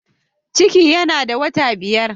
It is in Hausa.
Ciki yana da wata biyar.